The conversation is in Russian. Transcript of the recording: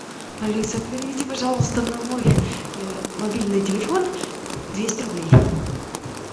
алиса переведи пожалуйста на мой мобильный телефон двести рублей